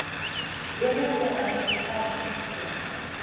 bremer terrein gestasioneer